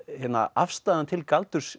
afstaðan til galdurs